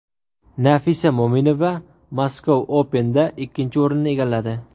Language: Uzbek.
Nafisa Mo‘minova Moscow Open’da ikkinchi o‘rinni egalladi.